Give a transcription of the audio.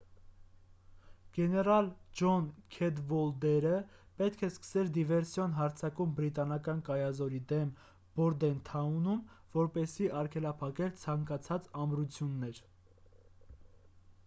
գեներալ ջոն քեդվոլդերը պետք է սկսեր դիվերսիոն հարձակում բրիտանական կայազորի դեմ բորդենթաունում որպեսզի արգելափակեր ցանկացած ամրություններ